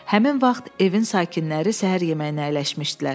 Həmin vaxt evin sakinləri səhər yeməyinə əyləşmişdilər.